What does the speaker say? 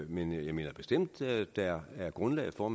men jeg mener bestemt at der er grundlag for